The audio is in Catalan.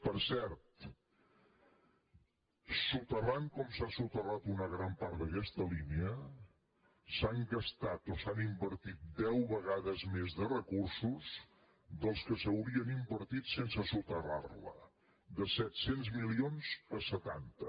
per cert soterrant com s’ha soterrat una gran part d’aquesta línia s’han gastat o s’han invertit deu vegades més de recursos dels que s’hi haurien invertit sense soterrar la de set cents milions a setanta